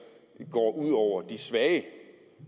går ud over de svage